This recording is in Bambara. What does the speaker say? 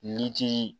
Yiri ti